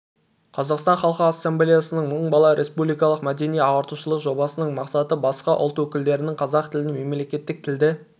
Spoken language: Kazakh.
қазақстан халқы ассамблеясының мың бала республикалық мәдени-ағартушылық жобасының мақсаты басқа ұлт өкілдерінің қазақ тілін мемлекеттік тілді